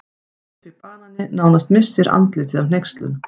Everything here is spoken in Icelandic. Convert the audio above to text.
Guffi banani nánast missir andlitið af hneykslun.